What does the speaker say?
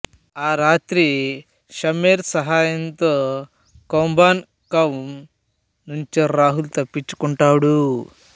ఆ రాత్రి షమ్షేర్ సహాయంతో కొంబన్ కౌం నుంచి రాహుల్ తప్పించుకుంటాడు